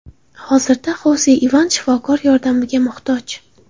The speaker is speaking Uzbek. Hozirda Xose Ivan shifokor yordamiga muhtoj.